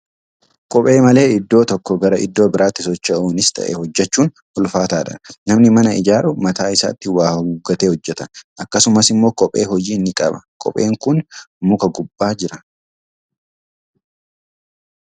Kophee malee iddoo tokkoo gara iddoo biraatti socho'uunis ta'ee hojjechuun ulfaataadha. Namani mana ijaaru mataa isaatti waa haguuggatee hojjeta; akkasumas immoo kophee hojii ni qaba. Koopheen kun muka gubbaa jira.